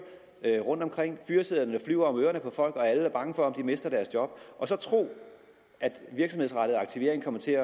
rundt omkring fyresedlerne flyver om ørerne på folk og alle er bange for at miste deres job og så tro at virksomhedsrettet aktivering kommer til